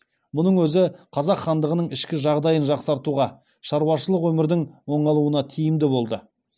мұның өзі қазақ хандығының ішкі жағдайын жақсартуға шаруашылық өмірдің оңалуына тиімді болды